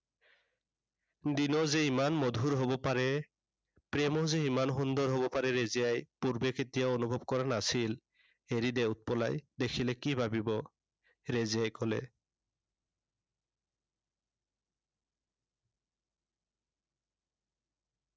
দিনো যে ইমান মধুৰ হব পাৰে, প্ৰেমো যে ইমান সুন্দৰ হব পাৰে ৰেজিয়াই পূৰ্বে কেতিয়াও অনুভৱ কৰা নাছিল। এৰি দে উৎপলাই দেখিলে কি ভাবিব। ৰেজিয়াই কলে।